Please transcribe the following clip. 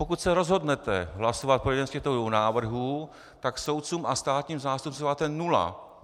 Pokud se rozhodnete hlasovat pro jeden z těchto dvou návrhů, tak soudcům a státním zástupcům dáváte nula.